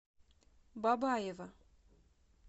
бабаево